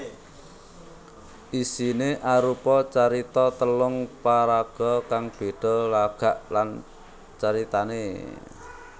Isiné arupa carita telung paraga kang béda lagak lan caritané